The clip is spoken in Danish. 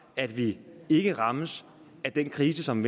at vi ikke rammes af den krise som